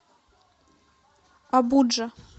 абуджа